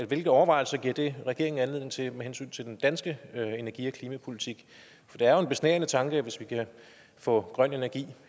hvilke overvejelser giver det regeringen anledning til med hensyn til den danske energi og klimapolitik for det er jo en besnærende tanke hvis vi kan få grøn energi